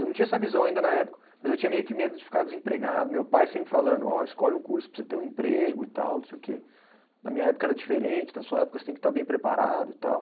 Eu não tinha essa visão ainda na época, mas eu tinha meio que medo de ficar desempregado, meu pai sempre falando, ó escolhe um curso para você ter um emprego e tal, não sei o quê, na minha época era diferente, na sua época você tem que estar bem preparado e tal.